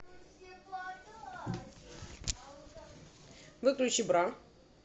выключи бра